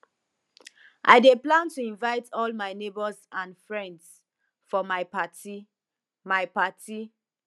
i dey plan to invite all my neighbors and friends for my party my party